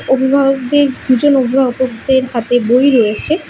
অভিভাবকদের দুজন অভিভাবকদের হাতে বই রয়েছে।